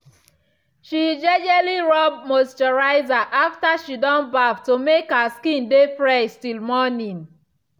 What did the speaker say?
she jejely rub moisturizer after she don baff to make her skin dey fresh till morning.